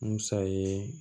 Musa ye